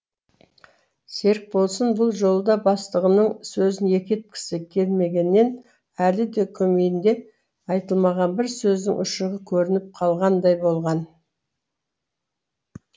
серікболсын бұл жолы да бастығының сөзін екі еткісі келмегеннен әлі де көмейінде айтылмаған бір сөздің ұшығы көрініп қалғандай болған